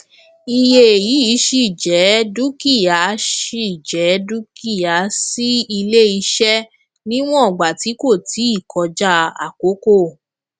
iye yìí ṣíì jẹ dúkìá ṣíì jẹ dúkìá sí iléiṣẹ níwọn ìgbà tí kò tíì kọjá àkókò